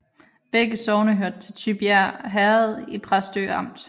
Begge sogne hørte til Tybjerg Herred i Præstø Amt